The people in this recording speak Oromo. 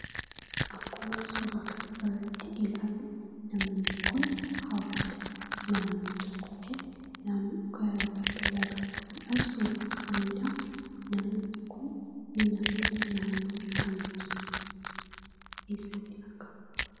Akkuma suuraa kana irratti ilaallu namoonni kun hawaasa naannoo tokkootii. Bakka lagaa dhufuudhaan suuraa ka'anidhaa. Namoonni kun namoota naannoo kamiiti? eessatti argamu?